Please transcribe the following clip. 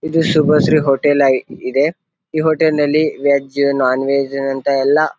ಇದು ಶುಬಶ್ರೀ ಹೋಟೆಲ್ ಅಯ್ ಇದೆ ಈ ಹೋಟೆಲ್ನಲ್ಲಿ ವೆಜ್ ನೋನ್ ವೆಜ್ ನಂತಹ ಎಲ್ಲ.